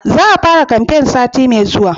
Za a fara kamfen sati mai zuwa